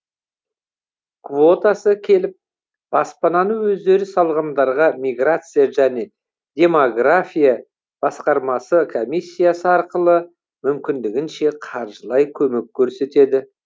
квотасы келіп баспананы өздері салғандарға миграция және демография басқармасы комиссиясы арқылы мүмкіндігінше қаржылай көмек көрсетеді